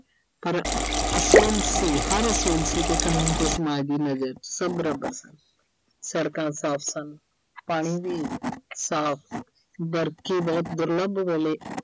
ਪਰ ਅਸੂਲ ਸੀ ਹਰ ਅਸੂਲ ਸੀ ਤੇ ਕਾਨੂੰਨ ਤੇ ਸਮਾਜ ਦੀ ਨਜ਼ਰ 'ਚ, ਸਭ ਬਰਾਬਰ ਸਨ। ਸੜਕਾਂ ਸਾਫ ਸਨ, ਪਾਣੀ ਵੀ ਸਾਫ। ਦੁਰਲੱਭ ਵੇਲੇ